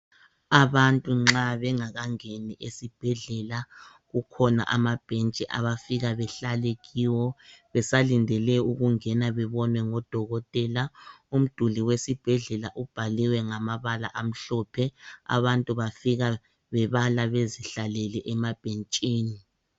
Abantu nxa bengakangeni esibhedlela kukhona amabhentshi abafika bahlale kiwo besalindele ukungena bebonwe ngodokotela . Umduli ubhaliwe ngamabala amhlophe, abantu bafika bebala bezihlalele emabhentshini.